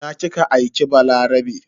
Ina kika aike Balarabe?